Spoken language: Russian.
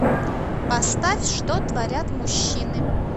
поставь что творят мужчины